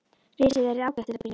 Risið er ágætt til að byrja með.